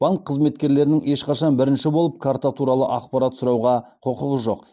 банк қызметкерлерінің ешқашан бірінші болып карта туралы ақпарат сұрауға құқығы жоқ